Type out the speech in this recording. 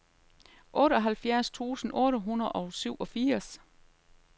otteoghalvfjerds tusind otte hundrede og syvogfirs